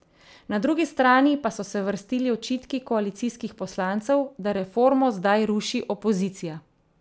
Na drugi strani pa so se vrstili očitki koalicijskih poslancev, da reformo zdaj ruši opozicija.